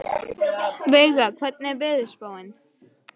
Veiga, hvernig er veðurspáin?